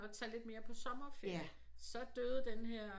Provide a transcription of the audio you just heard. At tage lidt mere på sommerferie så døde den her